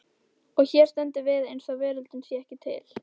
Og hér stöndum við eins og veröldin sé ekki til.